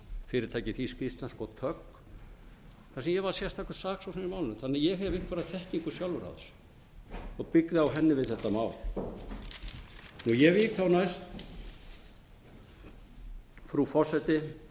fyrirtækið þýzk íslenzka og tögg þar sem ég var sérstakur saksóknari í málinu þannig að ég hef einhverja þekkingu sjálfur á þessu og byggði á henni við þetta mál ég vík þá næst frú forseti